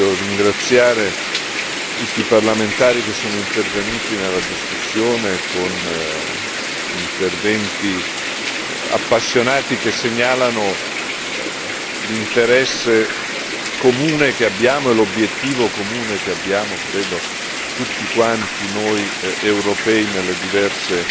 Io voglio ringraziare tutti i parlamentari che sono intervenuti nella discussione con interventi appassionati che segnalano l'interesse comune e l'obiettivo comune che abbiamo, credo, tutti quanti noi europei nelle diverse